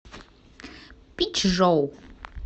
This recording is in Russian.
пичжоу